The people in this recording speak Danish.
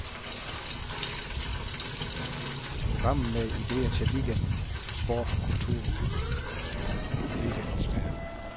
Programmet med idéer til weekenden, sport, kultur og weekendens vejr.